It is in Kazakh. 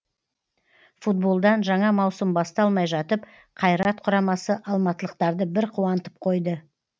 футболдан жаңа маусым басталмай жатып қайрат құрамасы алматылықтарды бір қуантып қойды